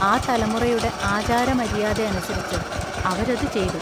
ആ തലമുറയുടെ ആചാരമര്യാദയനുസരിച്ച് അവരതു ചെയ്തു.